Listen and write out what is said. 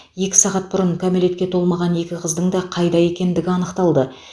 екі сағат бұрын кәмелетке толмаған екі қыздың да қайда екендігі анықталды